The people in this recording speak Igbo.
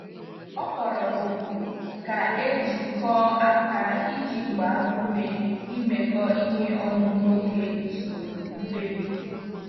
Ọ kpọrọ òkù ka e jikọọ aka iji gbaa ume imekọ ihe ọnụ n'oge usoro mkpebi.